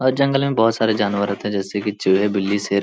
और जंगल में बहुत सारे जानवर रहते हैं जैसे की चूहे बिल्ली शेर --